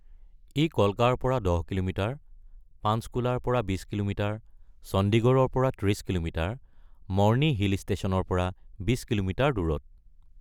ই কলকাৰ পৰা ১০ কিলোমিটাৰ, পাঞ্চকুলাৰ পৰা ২০ কিলোমিটাৰ, চণ্ডীগড়ৰ পৰা ৩০ কিলোমিটাৰ, মৰ্নি হিল ষ্টেচনৰ পৰা ২০ কিলোমিটাৰ দূৰত।